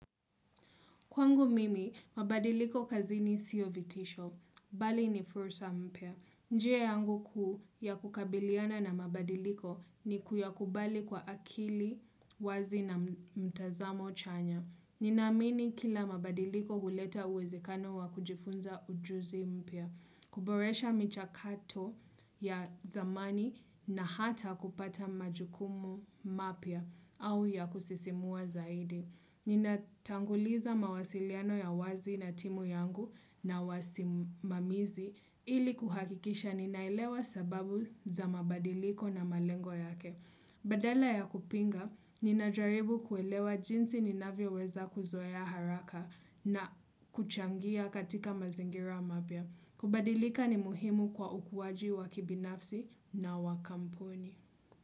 Kwangu mimi, mabadiliko kazini sio vitisho. Bali ni fursa mpya. Njia yangu kuu ya kukabiliana na mabadiliko ni kuyakubali kwa akili wazi na mtazamo chanya. Ninaamini kila mabadiliko huleta uwezekano wa kujifunza ujuzi mpya. Kuboresha michakato ya zamani na hata kupata majukumu mapya au ya kusisimua zaidi. Ninatanguliza mawasiliano ya wazi na timu yangu na wasimamizi ili kuhakikisha ninailewa sababu za mabadiliko na malengo yake. Badala ya kupinga, ninajaribu kuelewa jinsi ninavyoweza kuzoea haraka na kuchangia katika mazingira mapya. Kubadilika ni muhimu kwa ukuaji wa kibinafsi na wa kampuni.